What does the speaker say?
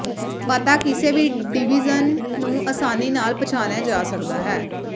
ਪਤਾ ਕਿਸੇ ਵੀ ਡਿਵੀਜ਼ਨ ਨੂੰ ਆਸਾਨੀ ਨਾਲ ਪਛਾਣਿਆ ਜਾ ਸਕਦਾ ਹੈ